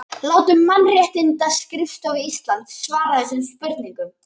Látum Mannréttindaskrifstofu Íslands svara þessum spurningum